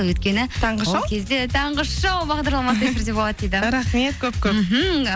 өйткені таңғы шоу бағдарламасы міндетті түрде болады дейді рахмет көп көп мхм